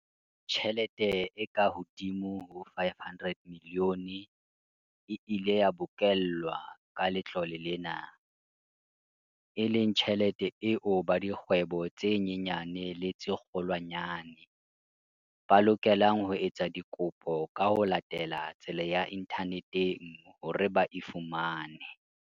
Tjhelete e kahodimo ho R500 milione e ile ya bokellwa ka letlole lena, e leng tjhelete eo ba dikgwebo tse nyenyane le tse kgolwanyane, ba lokelang ho etsa dikopo ka ho latela tsela ya inthaneteng hore ba e fumane.